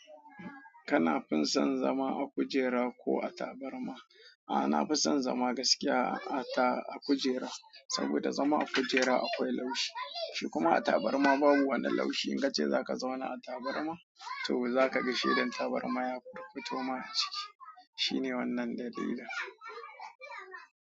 Kana fin son zama a kujera ko a tabarma? Ah, na fi son zama gaskiya a ta- a kujera, saboda zama a kujera akwai laushi, shikuma a tabarma babu wanan laushi. In ka ce za ka zauna a tabarma to za ka ga shedan tabarma ya fuffuto ma ajiki. Shine wannan dalilin.